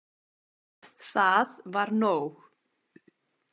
Það var nóg.